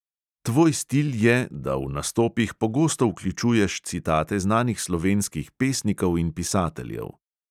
Tvoj stil je, da v nastopih pogosto vključuješ citate znanih slovenskih pesnikov in pisateljev.